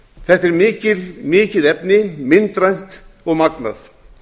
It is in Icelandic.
þetta er mikið efni myndrænt og magnað